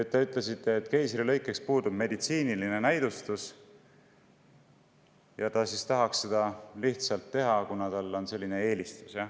Te ütlesite, et keisrilõikeks puudub meditsiiniline näidustus ja tahab, et seda tehtaks lihtsalt seetõttu, et tal on selline eelistus.